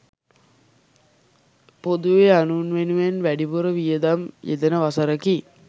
පොදුවේ අනුන් වෙනුවෙන් වැඩිපුර වියදම් යෙදෙන වසරකි.